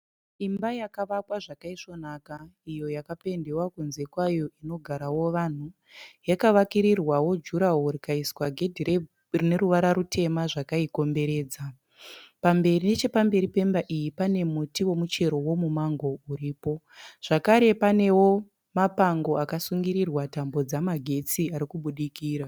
Imba yakavakwa zvakaisvonaka iyo yakapendiwa kunze kwayo inogarawo vanhu. Yakavakirirwawo juraworo rikaiswa gedhi rine ruvara rutema zvakaikomberedza. Nechepamberi pemba iyi pane muti womuchero womumango uripo. Zvakare panewo mapango akasungirirwa tambo dzamagetsi ari kubudikira.